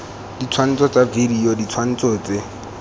ditshwantsho tsa video ditshwantsho tse